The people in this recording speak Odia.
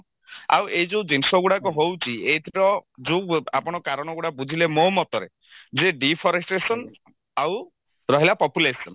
ଆଉ ଏଇ ଯଉ ଜିନିଷ ଗୁଡାକ ହଉଛି ଏଇଥିର ଯଉ ଆପଣ କାରଣ ଗୁଡା ବୁଝିଲେ ମୋ ମତରେ ଯେ deforestation ଆଉ ରହିଲା population